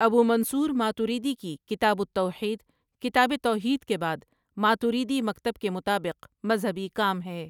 ابو Mansur Maturidi کی کتاب التوحید کتاب توحید کے بعد، ماتریدی مکتب کے مطابق مذہبی کام ہے ۔